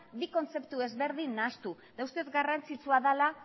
bi kontzeptu ezberdin nahastu eta uste dut garrantzitsua dela